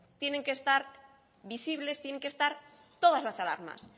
tienen que estar visibles tienen que estar todas las alarmas